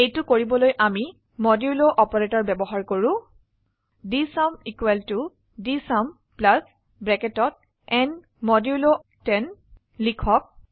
এইটো কৰিবলৈ আমি মডুল অপাৰেটৰ ব্যবহাৰ কৰো ডিএছইউএম ডিএছইউএম ন 10 লিখক